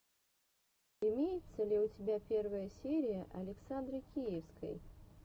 имеется ли у тебя первая серия александры киевской